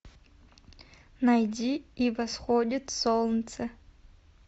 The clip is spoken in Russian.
найди и восходит солнце